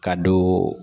Ka don